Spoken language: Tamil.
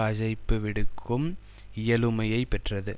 அழைப்புவிடுக்கும் இயலுமையை பெற்றது